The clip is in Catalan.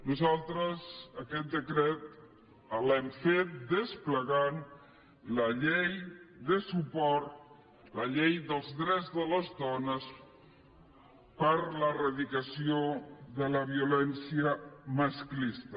nosaltres aquest decret l’hem fet desplegant la llei de suport la llei dels drets de les dones per a l’eradicació de la violència masclista